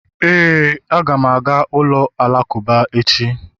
Éè, a ga m aga ụlọ alakụba echi